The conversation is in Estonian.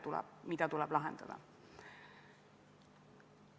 Ma ei mäleta, et me oleksime delegatsiooni muutmise puhul kutsunud inimesi veel eraldi vestlusele.